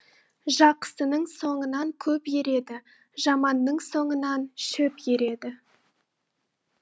жақсының соңынан көп ереді жаманның соңынан шөп ереді